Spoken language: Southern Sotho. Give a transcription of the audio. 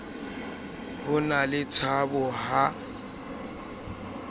ho na le tshabo ha